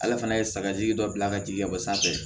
Ala fana ye sagaji dɔ bila ka jigin ka bɔ sanfɛ